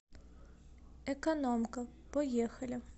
экономка поехали